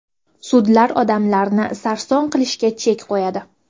Sudlar odamlarni sarson qilishiga chek qo‘yiladi.